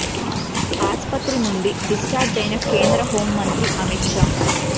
ఆసుపత్రి నుండి డిశ్చార్జ్ అయిన కేంద్ర హోమ్ మంత్రి అమిత్ షా